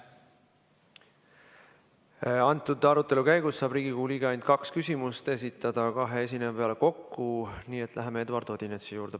Arutelu käigus saab Riigikogu liige esitada ainult kaks küsimust kahe esineja peale kokku, nii et läheme Eduard Odinetsi juurde.